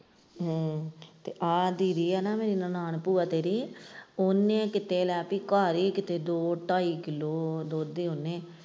ਹਮ ਤੇ ਆਹ ਦੀਦੀ ਹੈ ਨਨਾਣ ਭੂਆ ਤੇਰੀ ਇਹਨੇ ਕਿਤੇ ਲਾਤੀ ਘਰ ਹੀ ਕਿਤੇ ਦੋ ਢਾਈ ਕਿੱਲੋ ਦੁੱਧ .